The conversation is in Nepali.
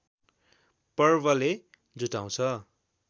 पर्वले जुटाउँछ